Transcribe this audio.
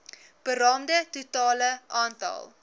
beraamde totale aantal